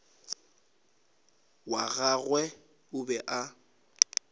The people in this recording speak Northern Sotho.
wa gagwe o be a